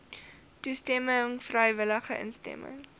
toestemming vrywillige instemming